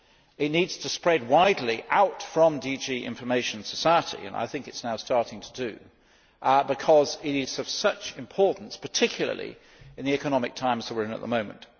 It needs to spread out widely from DG Information Society as I think it is now starting to do because it is of such importance, particularly in the economic times we are in at the moment.